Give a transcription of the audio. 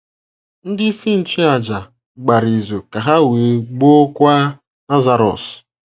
“ Ndị isi nchụàjà gbara izu ka ha wee gbuokwa Lazarọs. ”